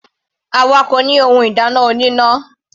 Àwa kò ní ohun ìdáná oníná.